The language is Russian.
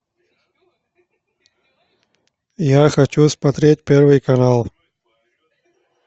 я хочу смотреть первый канал